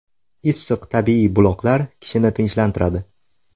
Issiq tabiiy buloqlar kishini tinchlantiradi.